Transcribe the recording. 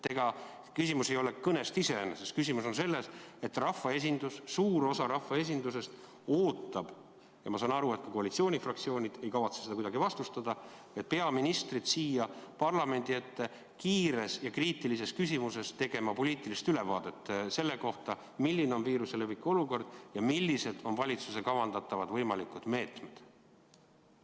Ega küsimus ei ole kõnest iseeneses, küsimus on selles, et rahvaesindus, suur osa rahvaesindusest ootab – ma saan aru, et ka koalitsioonifraktsioonid ei kavatse seda kuidagi vastustada – peaministrit siia parlamendi ette kiires ja kriitilises küsimuses tegema poliitilist ülevaadet selle kohta, milline on viiruse leviku olukord ja millised on valitsuse kavandatavad võimalikud meetmed.